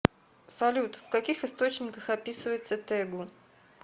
салют в каких источниках описывается тэгу